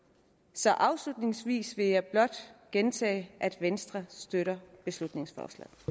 så afslutningsvis vil jeg blot gentage at venstre støtter beslutningsforslaget